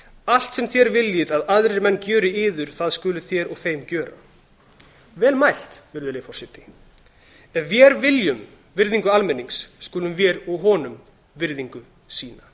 allt sem þér viljið að aðrir menn gjöri yður það skuluð þér og þeim gjöra vel mælt virðulegi forseti ef vér viljum virðingu almennings skulum vér og honum virðingu sýna